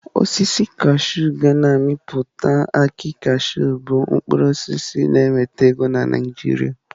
Osisi kashụụ ga na-amịpụta akị kashụụ bụ mkpụrụ osisi na-enweta ego na Naịjirịa.